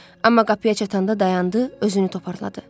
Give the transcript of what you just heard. Amma qapıya çatanda dayandı, özünü toparladı.